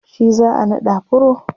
shi za'a naɗa pro